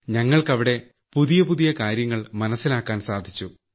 ഞങ്ങൾക്ക് അവിടെ പുതിയ പുതിയ കാര്യങ്ങൾ മനസ്സിലാക്കാൻ സാധിച്ചു